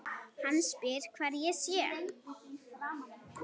Hann spyr hvar ég sé.